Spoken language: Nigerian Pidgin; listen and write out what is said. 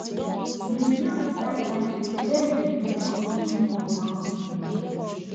Review di expenses wey you dey make on weekly or monthly basis